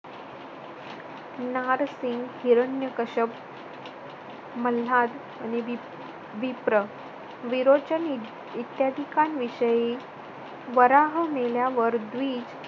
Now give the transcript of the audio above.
नारसिंग हिरण्य कष्याप मल्हार अनुदिप विप्र विरोचनीधी इत्यादिकांविषयी वराह मिळण्यावर द्वी